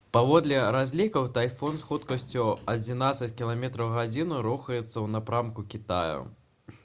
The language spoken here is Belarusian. паводле разлікаў тайфун з хуткасцю адзінаццаць км/г рухаецца ў напрамку кітая